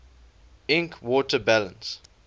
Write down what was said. ink water balance